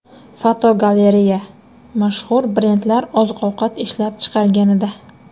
Fotogalereya: Mashhur brendlar oziq-ovqat ishlab chiqarganida.